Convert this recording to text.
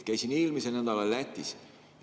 Käisin eelmisel nädalal Lätis.